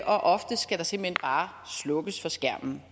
og ofte skal der simpelt hen bare slukkes for skærmen